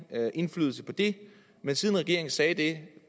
indflydelse på det men siden regeringen sagde det